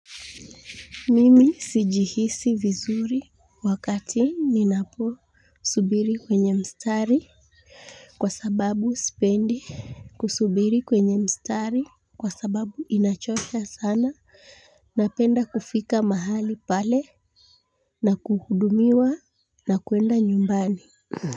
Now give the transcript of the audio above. Mimi sijihisi vizuri wakati ninaposubiri kwenye mstari. Kwa sababu sipendi kusubiri kwenye mstari kwa sababu inachosha sana. Napenda kufika mahali pale na kuhudumiwa na kuenda nyumbani